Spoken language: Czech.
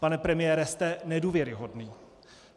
Pane premiére, jste nedůvěryhodný.